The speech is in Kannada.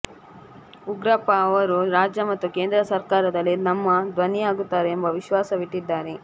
ಉಗ್ರಪ್ಪ ಅವರು ರಾಜ್ಯ ಮತ್ತು ಕೇಂದ್ರ ಸರ್ಕಾರದಲ್ಲಿ ನಮ್ಮ ಧ್ವನಿಯಾಗುತ್ತಾರೆ ಎಂಬ ವಿಶ್ವಾಸವಿಟ್ಟಿದ್ದಾರೆ